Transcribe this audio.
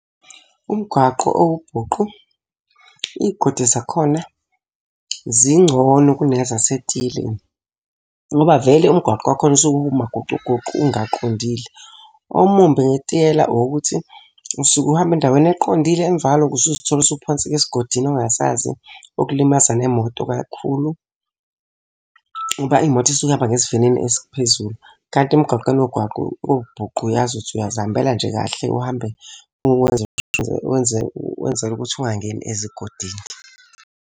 Umgwaqo owubhuqu iy'godi zakhona zingcono kunezasetiyeleni. Ngoba vele umgwaqo wakhona usuke umagocugoqu ungaqondile. Omumbi ngetiyela owokuthi usuke uhamba endaweni eqondile emva kwalokho usuzithola usuphonseka esigodini ongasazi, okulimaza nemoto kakhulu. Ngoba imoto isuke ihamba ngesivinini esiphezulu. Kanti emgaqweni wobhuqu uyazi ukuthi uyazihambela nje kahle, uhambe wenzele ukuthi ungangeni ezigodini.